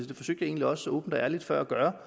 jeg egentlig også åbent og ærligt før at gøre